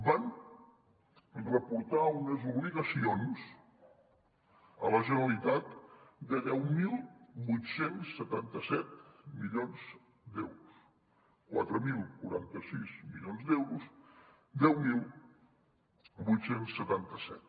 van reportar unes obligacions a la generalitat de deu mil vuit cents i setanta set milions d’euros quatre mil quaranta sis milions d’euros deu mil vuit cents i setanta set